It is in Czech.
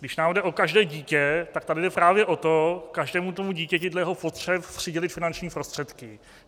Když nám jde o každé dítě, tak tady jde právě o to každému tomu dítěti dle jeho potřeb přidělit finanční prostředky.